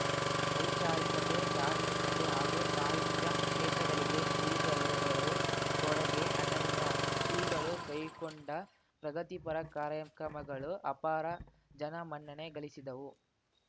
ವೈಚಾರಿಕತೆ ಧಾರ್ಮಿಕತೆ ಹಾಗೂ ಸಾಹಿತ್ಯ ಕ್ಷೇತ್ರಗಳಿಗೆ ಶ್ರೀಗಳವರು ಕೊಡುಗೆ ಅನನ್ಯ ಶ್ರೀಗಳು ಕೈಕೊಂಡ ಪ್ರಗತಿಪರ ಕಾರ್ಯಕ್ರಮಗಳು ಅಪಾರ ಜನಮನ್ನಣೆ ಗಳಿಸಿದವು